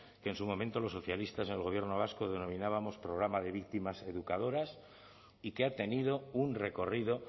que en su momento los socialistas en el gobierno vasco denominábamos programa de víctimas educadoras y que ha tenido un recorrido